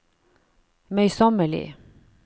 møysommelig